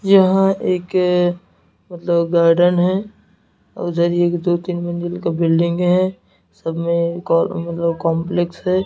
यहां एक मतलब गार्डन है उधर ही एक दो तीन मंजिल का बिल्डिंग है सब में कॉम मतलब कॉम्प्लेक्स है।